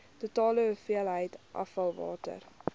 totale hoeveelheid afvalwater